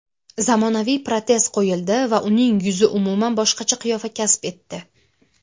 zamonaviy protez qo‘yildi va uning yuzi umuman boshqacha qiyofa kasb etdi.